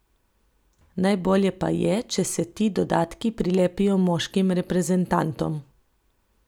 Najbolje pa je, če se ti dodatki prilepijo moškim reprezentantom.